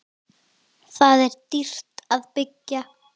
Þar er dýrt að byggja.